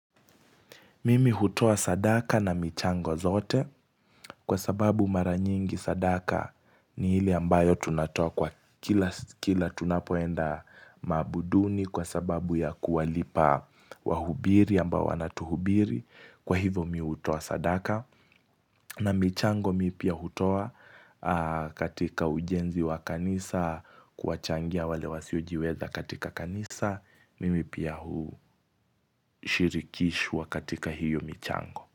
Mimi hutoa sadaka na michango zote. Kwa sababu mara nyingi sadaka ni ile ambayo tunatoa kwa kila s kila tunapoenda maabuduni kwa sababu ya kuwalipa wahubiri ambao wanatuhubiri kwa hivyo mi hutoa sadaka na michango mi pia hutoa aaaaa katika ujenzi wa kanisa, kuwachangia wale wasiojiweza katika kanisa Mimi pia hu shirikishwa katika hiyo michango.